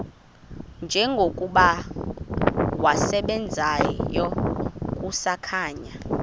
njengokuba wasebenzayo kusakhanya